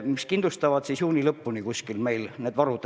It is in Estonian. See kindlustab juuni lõpuni meie varud.